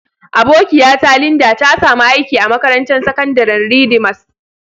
Abokiya ta Linda, ta samu aiki a makarantan sakandaren Redeemers.